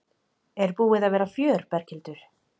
Er búið að vera fjör Berghildur?